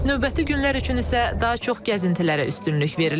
Növbəti günlər üçün isə daha çox gəzintilərə üstünlük verilib.